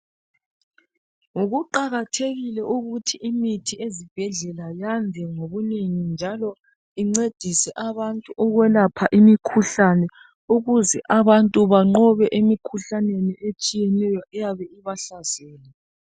Kuqakathekile ukuthi imithi ezibhedlela yande ngobunengi njalo incedise abantu ukwelapha imikhuhlane ukuze abantu banqobe emikhuhlaneni etshiyeneyo eyabe ibahlasele.